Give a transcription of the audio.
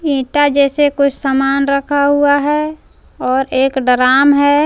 ईटां जैसे कुछ सामान रखा हुआ है और एक डराम है।